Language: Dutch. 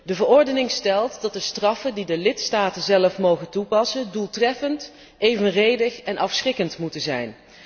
De verordening stelt dat de straffen die de lidstaten zelf mogen toepassen doeltreffend, evenredig en afschrikkend moeten zijn.